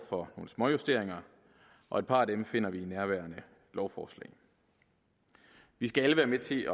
for nogle småjusteringer og et par af dem finder vi i nærværende lovforslag vi skal alle være med til